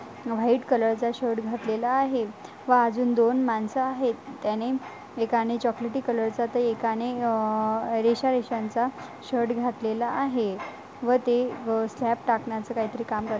White colour चा shirt घातलेला आहे व अजून दोन मानस आहेत. त्याने एकाने चॉकलेटी कलर चा त एकाने अ रेशा रेश्यांचा शर्ट घातलेला आहे व ते व स्लाप टाकन्याच काहीतरी काम करत --